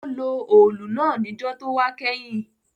Ó lo òòlù náà níjó tówá kẹ́hìn